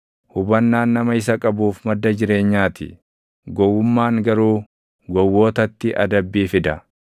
Hubannaan nama isa qabuuf madda jireenyaa ti; gowwummaan garuu gowwootatti adabbii fida.